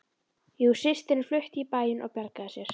Jú systirin flutti í bæinn og bjargaði sér